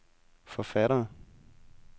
forfattere